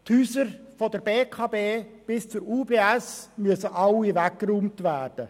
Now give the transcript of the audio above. Die Gebäude von der BEKB bis zur UBS müssen alle abgerissen werden.